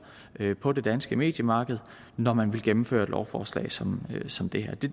på det danske mediemarked når man vil gennemføre et lovforslag som som det her det